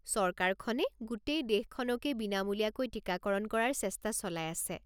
চৰকাৰখনে গোটেই দেশখনকেই বিনামূলীয়াকৈ টিকাকৰণ কৰাৰ চেষ্টা চলাই আছে।